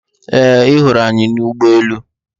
Ee, ị hụrụ anyị n' ụgbọelu.